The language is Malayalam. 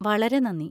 വളരെ നന്ദി!